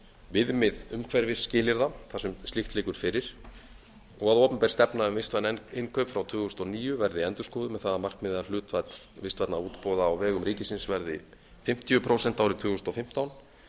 viðmið umhverfisskilyrða þar sem slíkt liggur fyrir og að opinber stefna um vistvæn innkaup frá tvö þúsund og níu verði endurskoðuð með það að markmiði að hlutfall vistvænna útboða á vegum ríkisins verði fimmtíu prósent árið tvö þúsund og fimmtán